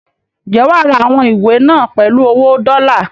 Ǹjẹ́ wà á ra àwọn ìwé náà pèlú owó dọ́lá?